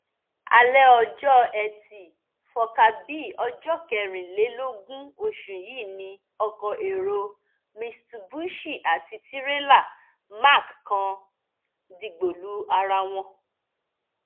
alẹ ọjọ etí furcabee ọjọ kẹrìnlélógún oṣù yìí ni ọkọ èrò mitsubishi àti tirẹlá mack kan dìgbò lu ara wọn